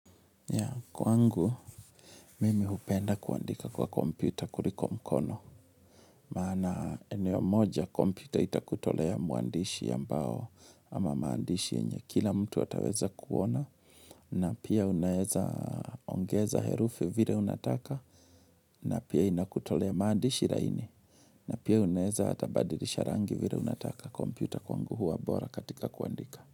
Kwangu, mimi hupenda kuandika kwa komputa kuliko kwa mkono. Maana eneo moja komputa itakutolea muandishi ambao ama maandishi yenye. Kila mtu ataweza kuona na pia unaeza ongeza herufi vile unataka na pia inakutolea maandishi laini. Na pia unaeza hata badilisha rangi vile unataka komputa kwangu huwa bora katika kuandika.